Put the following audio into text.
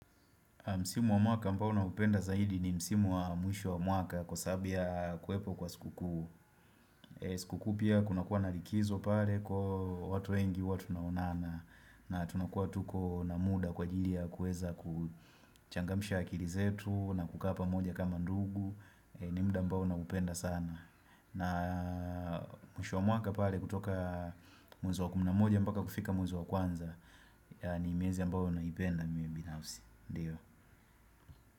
Msimu wa mwaka mbao naupenda zaidi ni msimu wa mwisho wa mwaka kwa sababu ya kuwepo kwa siku kuu. Sikukuu pia kuna kuwa na likizo pale kwahiyo watu wengi huwa tunaonana na tunakuwa tuko na muda kwa jili ya kueza kuchangamisha akili zetu na kukaa pamoja kama ndugu. Ni mda mbao na upenda sana. Na mwisho wa mwaka pale kutoka mwezi wa kumi na moja mpaka kufika mwisho wa kwanza ni miezi mbayo naipenda mimi binausi. Ndiyo.